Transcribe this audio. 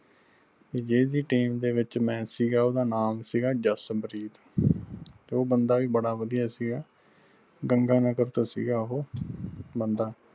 ਜਿਹੜੀ ਵੀ team ਦੇ ਵਿਚ ਮੈਂ ਸੀਗਾ ਓਹਦਾ ਨਾਮ ਸੀਗਾ ਜਸ ਪ੍ਰੀਤ ਉਹ ਬੰਦਾ ਵੀ ਬੜਾ ਵਧਿਆ ਸੀਗਾ ਗੰਗਾਨਗਰ ਤੋਂ ਸੀਗਾ ਓਹੋ ਬੰਦਾ।